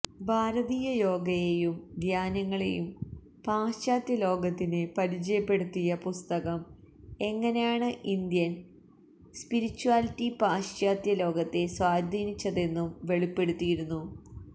ഭാരതീയ യോഗയെയും ധ്യാനങ്ങളെയും പാശ്ചാത്യ ലോകത്തിന് പരിചയപ്പെടുത്തിയ പുസ്തകം എങ്ങനെയാണ് ഇന്ത്യൻ സ്പിരിച്യാലിറ്റി പാശ്ചാത്യ ലോകത്തെ സ്വാധീനിച്ചതെന്നും വെളിപ്പെടുത്തിയിരുന്നു